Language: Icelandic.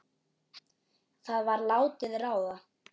Það var látið ráða.